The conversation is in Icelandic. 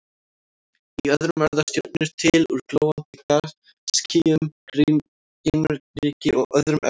Í öðrum verða stjörnur til úr glóandi gasskýjum, geimryki og öðrum efnum.